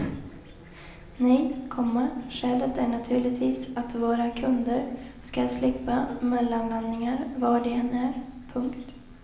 Nej, komma skälet är naturligtvis att våra kunder skall slippa mellanlandningar var de än är. punkt